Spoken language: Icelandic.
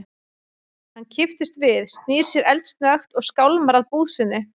Hann kippist við, snýr sér eldsnöggt og skálmar að búð sinni.